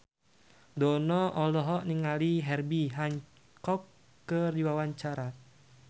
Dono olohok ningali Herbie Hancock keur diwawancara